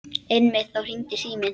Einmitt þá hringdi síminn.